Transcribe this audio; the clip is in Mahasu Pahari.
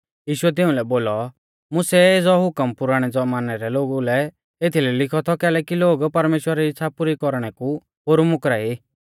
यीशुऐ तिउंलै बोलौ मुसै एज़ौ हुकम पुराणै ज़मानै रै लोगु लै एथलै लिखौ थौ कैलैकि लोग परमेश्‍वरा री इच़्छ़ा पुरी कौरणै कु पोरु मुकरा ई